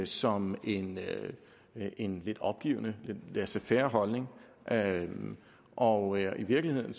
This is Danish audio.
som en en lidt opgivende laisser faire holdning og i virkeligheden